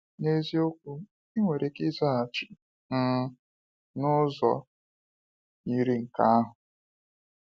N’isiokwu, ị nwere ike ịzaghachi um n’ụzọ yiri nke ahụ.